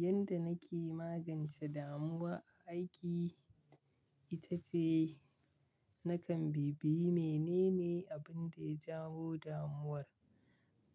Yanda nake magance damuwa a aiki ita ce nakan bibiye menene abin da ya jawo damuwar.